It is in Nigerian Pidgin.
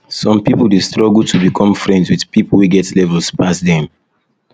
some pipo de struggle to become friends with pipo wey get levels pass dem